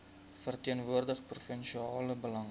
verteenwoordig provinsiale belange